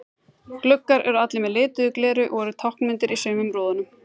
Gluggar eru allir með lituðu gleri og eru táknmyndir í sumum í rúðum.